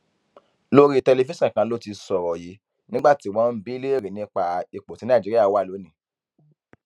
lórí tẹlifíṣàn kan ló ti sọrọ yìí nígbà tí wọn ń bi léèrè nípa ipò tí nàìjíríà wà lónìín